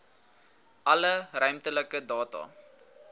alle ruimtelike data